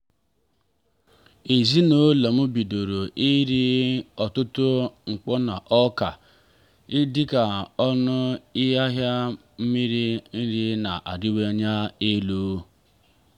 ezinụlọ m bidoro iri n'ọtụtụ mkpo na ọka dika ọnụ ahịa mmiri nri na-arịwanye elu.